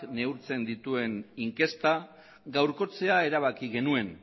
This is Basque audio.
neurtzen dituen inkesta gaurkotzea erabaki genuen